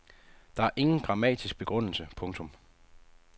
Der er ingen grammatisk begrundelse. punktum